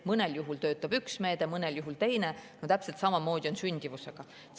Mõnel juhul töötab üks meede, mõnel juhul teine, ja täpselt samamoodi on sündimusega.